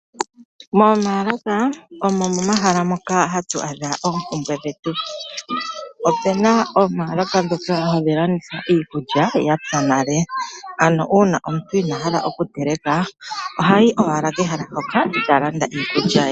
Momaalaka omo momahala noka hatu adha oompumbwe dhetu. Opu na omaalaka ngoka haga landitha iikulya ya pya nale, ano uuna omuntu inaa hala okuteleka, oha yi owala pehala mpoka e ta landa iikulya ye.